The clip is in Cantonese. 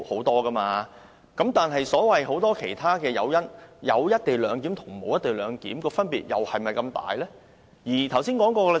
但是，就所謂很多其他誘因，有"一地兩檢"和沒有"一地兩檢"的分別，又是否這麼大呢？